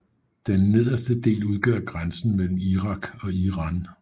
Den nederste del udgør grænsen mellem Irak og Iran